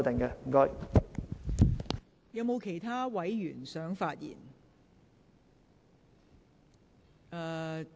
是否有其他委員想發言？